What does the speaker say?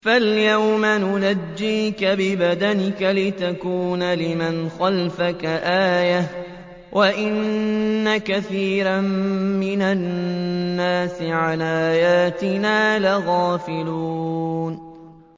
فَالْيَوْمَ نُنَجِّيكَ بِبَدَنِكَ لِتَكُونَ لِمَنْ خَلْفَكَ آيَةً ۚ وَإِنَّ كَثِيرًا مِّنَ النَّاسِ عَنْ آيَاتِنَا لَغَافِلُونَ